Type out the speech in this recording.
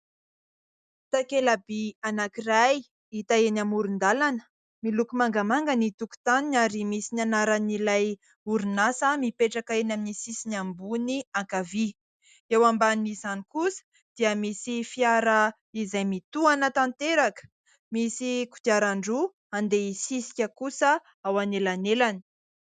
Takelaby anankiray hita eny amoron-dalana, miloko mangamanga ny tokotaniny ary misy ny anaran'ilay orinasa mipetraka eny amin'ny sisiny ambony ankavia ; eo ambanin'izany kosa dia misy fiara izay mitohana tanteraka, misy kodiaran-droa andeha hisisika kosa ao anelanelany.